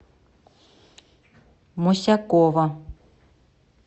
мосякова